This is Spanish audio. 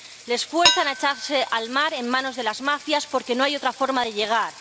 Les fuerzan a echarse al mar en manos de las mafias, porque no hay otra forma de llegar.